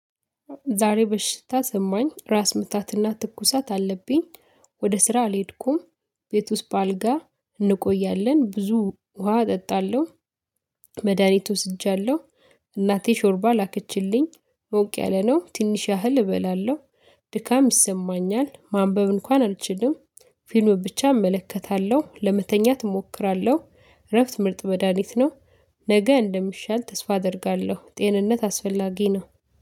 ዛሬ በሽታ ሰማኝ ራስ ምታትና ትኩሳት አለብኝ ወደ ስራ አልሄድኩም። ቤት ውስጥ በአልጋ እንቆያለን ብዙ ውሃ እጠጣለሁ። መድሃኒት ወስጃለሁ። እናቴ ሾርባ ላከችልኝ ሞቅ ያለ ነው ትንሽ ያህል እበላለሁ። ድካም ይሰማኛል ማንበብ እንኳን አልችልም። ፊልም ብቻ እመለከታለሁ ለመተኛት እሞክራለሁ እረፍት ምርጥ መዳኒት ነው። ነገ እንደሚሻል ተስፋ አደርጋለሁ። ጤንነት አስፈላጊ ነው